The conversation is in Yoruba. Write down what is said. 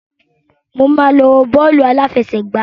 Mo máa lọ wo bọ́ọ̀lù aláfẹṣẹ̀gbá.